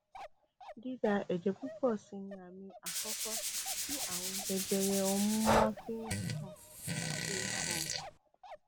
dída ẹjẹ púpọ sì ni àmì àkọkọ tí ààrùn jẹjẹrẹ ọmú máa ń fi hàn fi hàn